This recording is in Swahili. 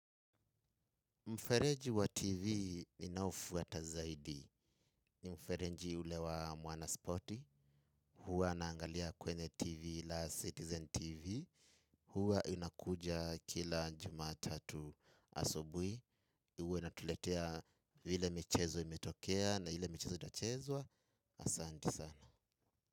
Mfereji wa TV ninaofuaata zaidi. Mfereji ule wa Mwana Sporti. Huwa naangalia kwenye TV la Citizen TV. Huwa inakuja kila jumatatu asubui. Huwa inatuletea ile michezo imetokea na ile michezo ita chezwa. Asanti sana.